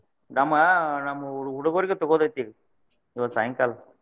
ನಮ್ಮ ನಮ್ಮ್ ಹುಡುಗೋರಿಗು ತೊಗೋದ್ ಐತಿ ಇವತ್ತ್ ಸಾಯಂಕಾಲ.